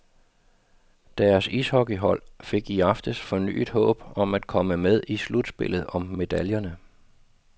Deres ishockeyhold fik i aftes fornyet håb om at komme med i slutspillet om medaljerne.